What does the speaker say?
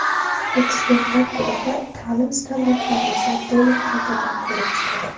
Ekspertlar guruhi taʼlim standartlarimizni to‘liq qaytadan ko‘rib chiqadi.